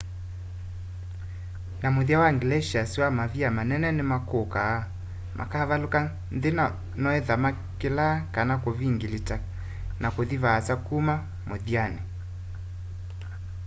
na muthya wa glaciers wa mavia manene nimakukaa makavaluka nthi na noethwa makilaa kana kuvingilita na kuthi vaasa kuma muthyani